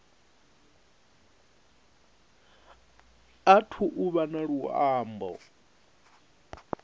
athu u vha na luambo